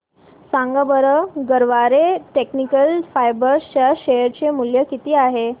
सांगा बरं Garware technical fibres च्या शेअर चे मूल्य किती आहे